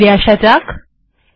এখানে ফিরে আসা যাক